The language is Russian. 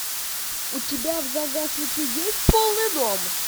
у тебя в загашнике есть полный дом